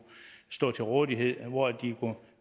stå til rådighed hvor de kunne